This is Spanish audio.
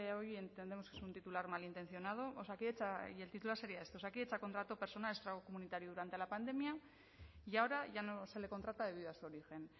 hoy entendemos que es un titular malintencionado y el titular sería este osakidetza contrató personal extracomunitario durante la pandemia y ahora ya no se le contrata debido a su origen